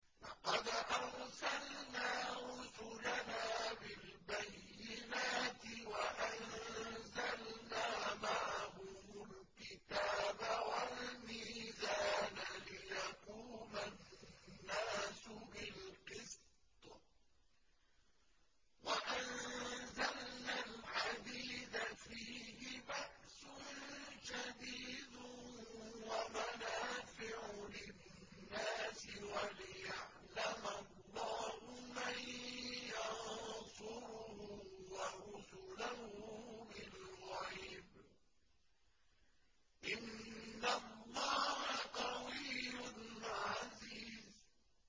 لَقَدْ أَرْسَلْنَا رُسُلَنَا بِالْبَيِّنَاتِ وَأَنزَلْنَا مَعَهُمُ الْكِتَابَ وَالْمِيزَانَ لِيَقُومَ النَّاسُ بِالْقِسْطِ ۖ وَأَنزَلْنَا الْحَدِيدَ فِيهِ بَأْسٌ شَدِيدٌ وَمَنَافِعُ لِلنَّاسِ وَلِيَعْلَمَ اللَّهُ مَن يَنصُرُهُ وَرُسُلَهُ بِالْغَيْبِ ۚ إِنَّ اللَّهَ قَوِيٌّ عَزِيزٌ